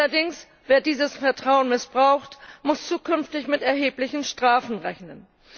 Wer allerdings dieses Vertrauen missbraucht, muss zukünftig mit erheblichen Strafen rechnen.